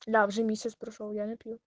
бля уже месяц прошёл я не пью